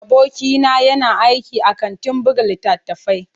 Abokina yana aiki a kantin buga littattafai.